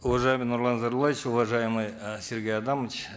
уважаемый нурлан зайроллаевич уважаемый э сергей адамович